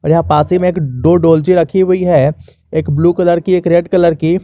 पासी में दो डोलची रखी हुई है एक ब्लू कलर की एक रेड कलर की।